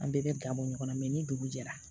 An bɛɛ bɛ ga bɔ ɲɔgɔn na ni dugu jɛra